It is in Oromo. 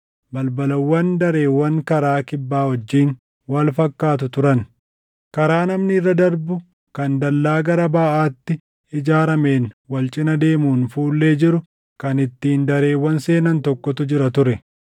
balbalawwan dareewwan karaa kibbaa wajjin wal fakkaatu turan. Karaa namni irra darbu kan dallaa gara baʼaatti ijaarameen wal cina deemuun fuullee jiru kan ittiin dareewwan seenan tokkotu jira ture.